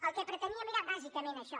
el que preteníem era bàsicament això